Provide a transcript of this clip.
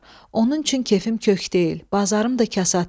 Onun üçün kefim kök deyil, bazarım da kasaddır.